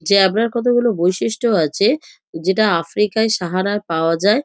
Zebra -র কতগুলো বৈশিষ্ট্য আছে যেটা আফ্রিকায় সাহারায় পাওয়া যায়।